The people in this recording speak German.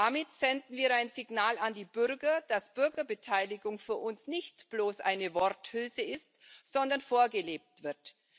Damit senden wir ein Signal an die Bürger, dass Bürgerbeteiligung für uns nicht bloß eine Worthülse ist, sondern vorgelebt wird.